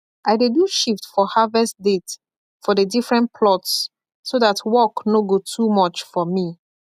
i dey do shift for harvest date for the different plots so that work no go too much for me